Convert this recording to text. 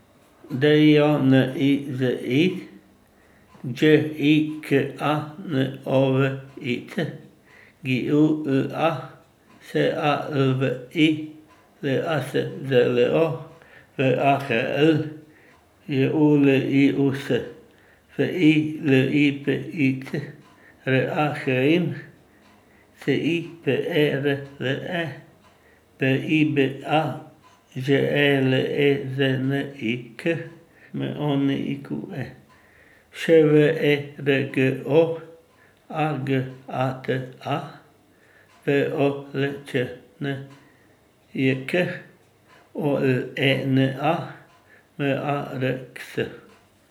D I O N I Z I, Đ I K A N O V I Ć; G Y U L A, S A L V I; L A S Z L O, W A H L; J U L I U S, F I L I P I Ć; R A H I M, C I P E R L E; B I B A, Ž E L E Z N I K; M O N I Q U E, Š V E R K O; A G A T A, V O L Č A N J K; O L E N A, M A R X.